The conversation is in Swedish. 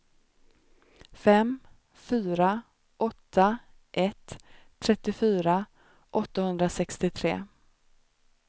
fem fyra åtta ett trettiofyra åttahundrasextiotre